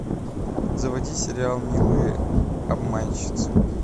заводи сериал милые обманщицы